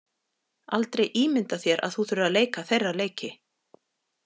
Aldrei ímynda þér að þú þurfir að leika þeirra leiki.